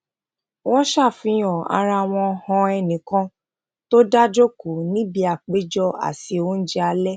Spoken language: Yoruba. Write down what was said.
wón ṣàfihàn ara wọn han ẹnì kan tó dá jókòó níbi ìpéjọ àsè oúnjẹ alẹ